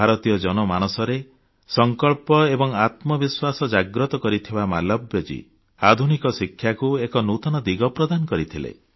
ଭାରତୀୟ ଜନମାନସରେ ସଂକଳ୍ପ ଏବଂ ଆତ୍ମବିଶ୍ୱାସ ଜାଗ୍ରତ କରିଥିବା ମାଲବ୍ୟଜୀ ଆଧୁନିକ ଶିକ୍ଷାକୁ ଏକ ନୂତନ ଦିଗ ପ୍ରଦାନ କରିଥିଲେ